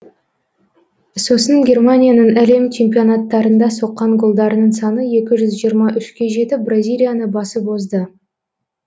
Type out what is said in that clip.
сосын германияның әлем чемпионаттарында соққан голдарының саны екі жүз жиырма үшке жетіп бразилияны басып озды